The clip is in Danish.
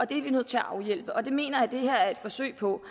det er vi nødt til at afhjælpe og det mener jeg at det her er et forsøg på